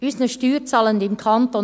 Unseren Steuerzahlenden im Kanton